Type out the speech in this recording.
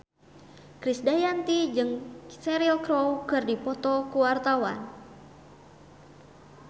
Krisdayanti jeung Cheryl Crow keur dipoto ku wartawan